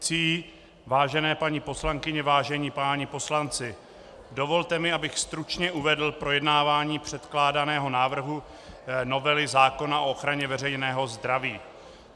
Vážené paní poslankyně, vážení páni poslanci, dovolte mi, abych stručně uvedl projednávání předkládaného návrhu novely zákona o ochraně veřejného zdraví.